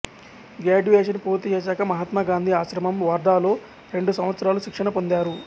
graduation పూర్తిచేశాక మహాత్మా గాంధీ ఆశ్రమం వార్ధా లో రెండు సంవత్సరాలు శిక్షణ పొందారు